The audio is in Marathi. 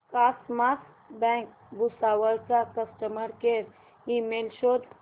कॉसमॉस बँक भुसावळ चा कस्टमर केअर ईमेल शोध